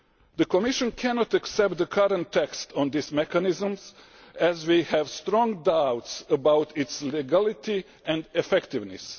The Commission cannot accept the current text on these mechanisms, as we have strong doubts about its legality and effectiveness.